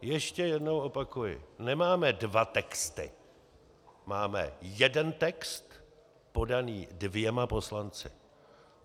Ještě jednou opakuji: nemáme dva texty, máme jeden text podaný dvěma poslanci.